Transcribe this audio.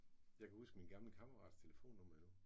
Jeg kan huske min gamle kammerats telefonnummer endnu